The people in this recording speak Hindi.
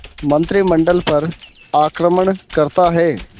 मंत्रिमंडल पर आक्रमण करता है